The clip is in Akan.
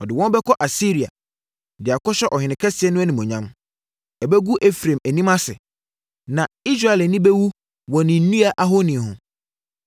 Wɔde no bɛkɔ Asiria, de akɔhyɛ ɔhene kɛseɛ no animuonyam. Ɛbɛgu Efraim anim ase; na Israel ani bɛwu wɔ ne nnua ahoni ho.